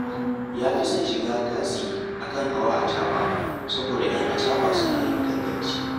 Ya fi son shiga tasi a kan hawa acaɓa, saboda ‘yan acaɓa suna yin ganganci